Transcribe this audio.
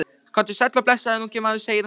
Komdu sæll og blessaður ungi maður, segir hún.